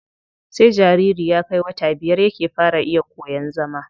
Sai jariri ya kai wata biyar yake fara iya koyan zama.